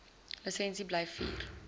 lisensie bly vier